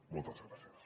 moltes gràcies